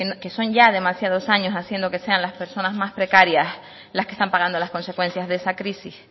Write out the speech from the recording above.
que son ya demasiados años haciendo que sean las personas más precarias las que están pagando las consecuencias de esa crisis